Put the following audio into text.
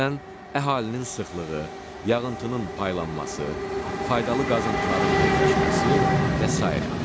Məsələn, əhalinin sıxlığı, yağıntının paylanması, faydalı qazıntıların yerləşməsi və sairə.